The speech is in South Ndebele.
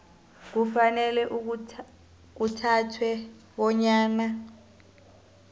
kufanele kuthathwe bonyana